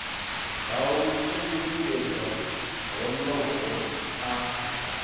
ha u lingedza honoho a